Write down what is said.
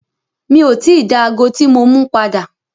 Mi o ti dá ago tí mo mú padà.